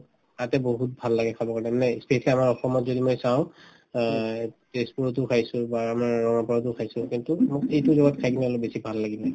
তাতে বহুত ভাল লাগে খাবৰ কাৰণে মানে ই specially আমাৰ অসমত মই যদি চাওঁ অ এই তেজপুৰতো খাইছো বা আমাৰ ৰঙাপাৰাতো খাইছো কিন্তু এইটো জগাত খাই কিনে অলপ বেছি ভাল লাগিলে